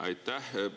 Aitäh!